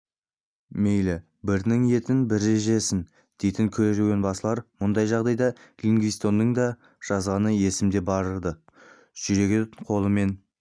мейлі бірінің етін бірі жесін дейтін керуенбасылар мұндай жағдайды ливингстонның да жазғаны есімде бар-ды жүрегін қолымен